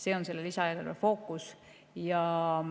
See on selle lisaeelarve fookus.